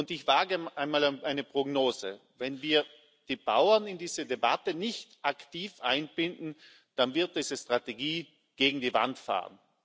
Ich wage mal eine Prognose Wenn wir die Bauern in diese Debatte nicht aktiv einbinden, dann wird diese Strategie gegen die Wand fahren.